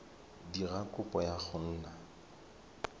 dira kopo ya go nna